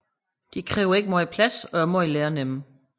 De kræver ikke meget plads og er meget lærenemme